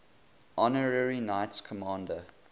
honorary knights commander